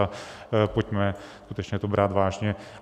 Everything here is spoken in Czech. A pojďme skutečně to brát vážně.